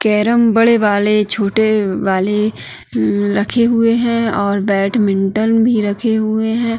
Carrom बड़े वाले छोटे वाले म-रखे हुए हैं और बैटमिंटन भी रखे हुए हैं।